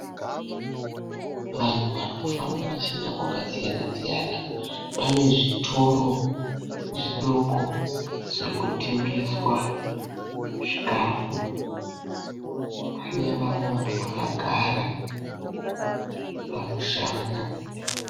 Vanhu vari kufamba vachienda kwakasiyana siyana. Pane zvitoro zvidoko zviri kutengeswa chikafu. Pane vamwe vanhu vakagara pamushana.